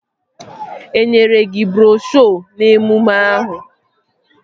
Enyere gị broshuo n'emume ahụ?